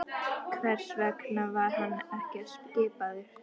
Hvers vegna var hann ekki skipaður?